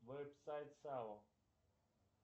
веб сайт сао